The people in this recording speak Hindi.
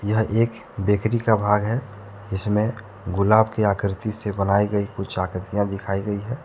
यह एक बेकरी का भाग है जिसमें गुलाब के आकृति से बनाई गई कुछ आकृतियां दिखाई गई है।